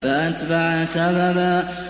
فَأَتْبَعَ سَبَبًا